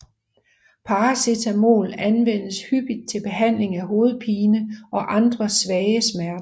Paracetamol anvendes hyppigt til behandling af hovedpine og andre svage smerter